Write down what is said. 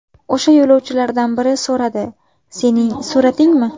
O‘sha yo‘lovchilardan biri so‘radi: ‘Sening suratingmi?